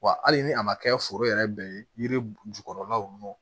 Wa hali ni a ma kɛ foro yɛrɛ bɛɛ ye yiri jukɔrɔlaw ye